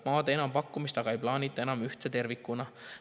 Maade enampakkumist aga ei plaanita enam ühtse tervikuna.